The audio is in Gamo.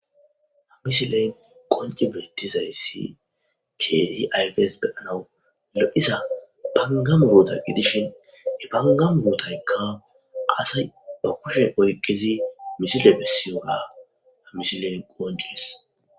Misile ayfes beyishn ha'i betizaysi aze gizaysa gidikko banga muruta gidishin he banga murutayka kushen oykidiy misile qoncises